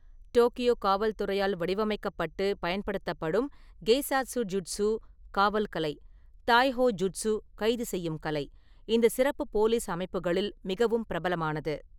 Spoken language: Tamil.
டோக்கியோ காவல் துறையால் வடிவமைக்கப்பட்டு பயன்படுத்தப்படும் கெய்சாட்ஸுஜூட்ஸு(காவல் கலை) தாய்ஹோ ஜூட்ஸு(கைதுசெய்யும் கலை), இந்த சிறப்பு போலீஸ் அமைப்புகளில் மிகவும் பிரபலமானது.